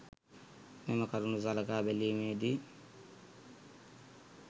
මෙම කරුණු සලකා බැලීමේ දී